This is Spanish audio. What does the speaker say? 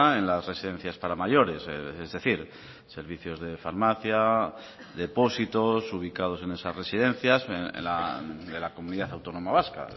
en las residencias para mayores es decir servicios de farmacia depósitos ubicados en esas residencias de la comunidad autónoma vasca